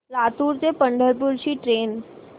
लातूर ते पंढरपूर ची ट्रेन